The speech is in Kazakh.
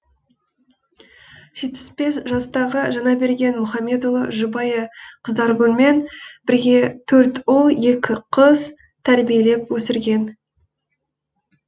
жетпіс бес жастағы жаңаберген мұхамедұлы жұбайы қыздаргүлмен бірге төрт ұл екі қыз тәрбиелеп өсірген